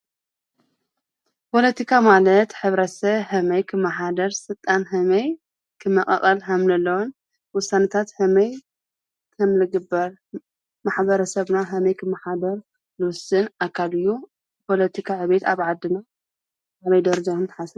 ፖለቲካ ማለት ሕብረትሰብ ከመይ ክመሓደር ስልጣን ከመይ ክመቃቀል ከምዘለዎን ዉሳነታት ከመይ ከምዝግበር ማሕበረሰብና ከመይ ክመሓደር ዝዉስን ኣካል እዩ ፖለቲካ ዕብየት ኣብ ዓድና ኣበይ ደረጃ ንሓስቦ?